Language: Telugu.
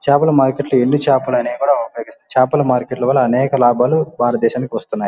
చేపల మార్కెట్ ఎండు చేపలు అనేవి కూడా ఉన్నాయి చేపల మార్కెట్ వల్ల అనేక లాభాలు భారత దేశానికి వస్తున్నాయి.